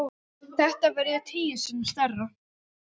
Þetta verður tíu sinnum stærra.